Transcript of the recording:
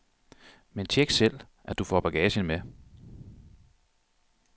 Men check selv, at du får bagagen med.